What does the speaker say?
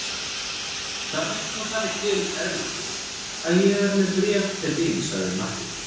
Það vill nú þannig til Erlendur að ég er með bréf til þín, sagði Marteinn.